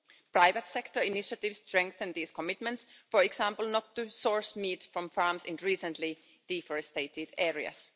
Private-sector initiatives strengthened these commitments, for example not to source meat from farms in recently deforested areas.